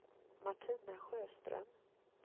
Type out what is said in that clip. Martina Sjöström